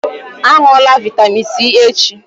Á ṅụlà vitamin c echi!